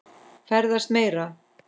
Ferðast meira.